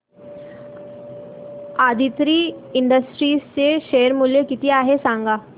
Aditri industries चे share मूल्य किती आहे सांगा